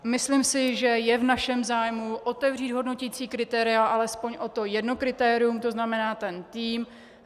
Myslím si, že je v našem zájmu otevřít hodnoticí kritéria alespoň o to jedno kritérium, to znamená ten tým.